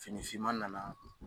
Finifinman nana.